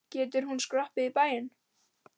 Getur hún skroppið í bæinn?